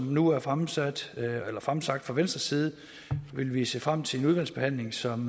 nu er fremsagt fremsagt fra venstres side vil vi se frem til en udvalgsbehandling som